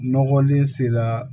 Nɔgɔlen sera